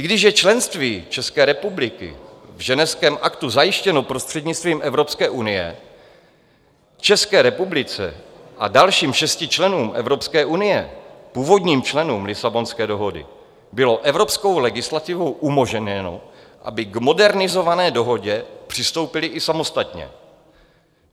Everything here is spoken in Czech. I když je členství České republiky v Ženevském aktu zajištěno prostřednictvím Evropské unie, České republice a dalším šesti členům Evropské unie, původním členům Lisabonské dohody, bylo evropskou legislativou umožněno, aby k modernizované dohodě přistoupili i samostatně.